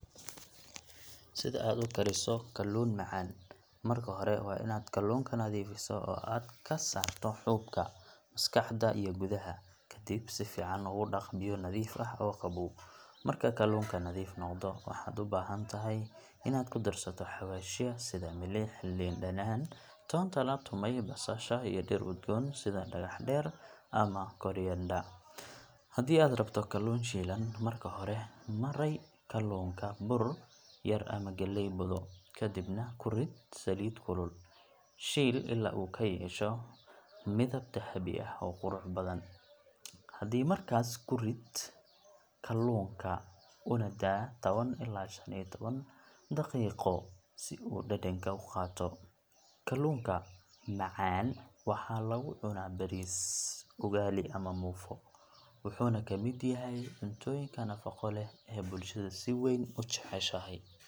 Sidi aad u kariso kalluun macaan, marka hore waa inaad kalluunka nadiifiso oo aad ka saarto xuubka, maskaxda, iyo gudaha. Kadib, si fiican ugu dhaq biyo nadiif ah oo qabow. Marka kalluunka nadiif noqdo, waxaad u baahan tahay inaad ku darsato xawaashyo sida milix, liin dhanaan, toonta la tumay, basasha, iyo dhir udgoon sida dhagax-dheer ama coriander. Haddii aad rabto kalluun shiilan, marka hore mari kalluunka bur yar ama galley budo, kadibna ku rid saliid kulul. Shiil ilaa uu ka yeesho midab dahabi ah oo qurux badan. Haddii aad rabto kalluun maraq ah, basasha iyo yaanyo shiil, ku dar toonta iyo xawaashka, markaas ku rid kalluunka una daa tawan ilaa iyo shan iyo tawan daqiiqo si uu dhadhanka u qaato. Kalluunka macaan waxaa lagu cunaa bariis, ugali, ama muufo, wuxuuna ka mid yahay cuntooyinka nafaqo leh ee bulshada si weyn u jeceshahay.